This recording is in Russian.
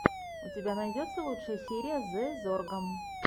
у тебя найдется лучшая серия зэ зорга